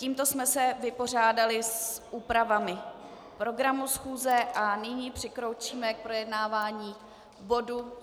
Tímto jsme se vypořádali s úpravami programu schůze a nyní přikročíme k projednávání bodu